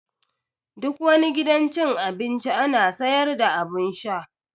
Duk wani gidan cin abinci ana sayar da abun sha